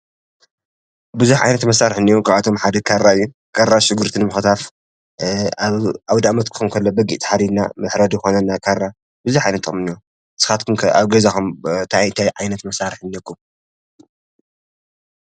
ቡዝሕ ዓይነት መሳርሒ እንአየ ካብኣቶም ሓደ ካራ እዬ ። ካራ ሽጉርቲ ንምክታፍ አውደኣመት ክከውን ከሎ በጊዕ ተሓሪድና መሕረዲ ይኮነና ካራ ብዙሕ ዓይነት ጥቅሚ እኒአዎ ። ንስካትኩም ኸ ኣብ ገዛኩም ታይ እንታይ መሳርሒ እኒአኩም ።